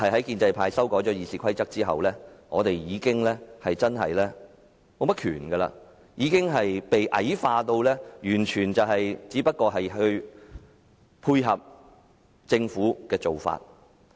建制派修改了《議事規則》後，立法會已經沒有甚麼權力，被矮化至只能配合政府的做法。